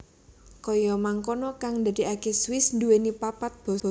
Kaya mangkono kang ndadekake Swiss nduwèni papat basa